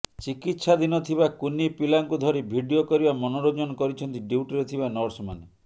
ଚିକିତ୍ସାଧୀନ ଥିବା କୁନି ପିଲାଙ୍କୁ ଧରି ଭିଡିଓ କରିବା ମନୋରଂଜନ କରିଛନ୍ତି ଡ୍ୟୁଟିରେ ଥିବା ନର୍ସ ମାନେ